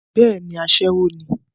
bẹ́ẹ̀ni, asẹ́wọ ní